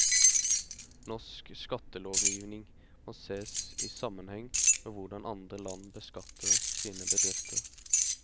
Norsk skattelovgivning må sees i sammenheng med hvordan andre land beskatter sine bedrifter.